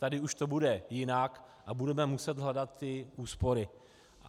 Tady už to bude jinak a budeme muset hledat ty úspory.